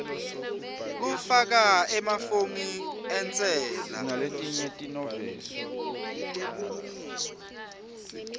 kufaka emafomu entsela